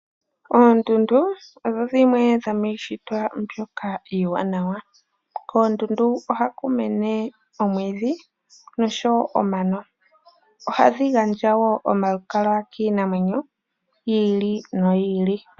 Oondundu odho dhimwe dhomiishitwa mbyoka iiwanawa. Koondundu ohaku mene oomwiidhi nosho woo omano. Ohadhi gandja woo omalukalwa kiinamwenyo yiili noyili.